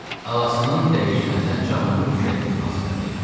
Ağasının dəyişməsinə canlı mülkiyyəti münasibəti.